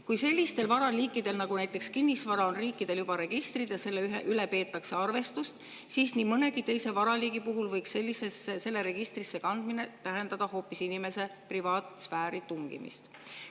Kui sellistel varaliikidel nagu näiteks kinnisvara on riikidel juba registrid olemas ja selle üle peetakse arvestust, siis nii mõnegi teise varaliigi puhul võiks selle registrisse kandmine tähendada inimese privaatsfääri tungimist.